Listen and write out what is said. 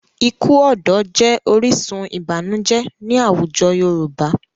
Ikú ọ̀dọ́ jẹ́ orísun ìbànújẹ́ ní àwùjọ Yorùbá.